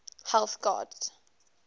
health gods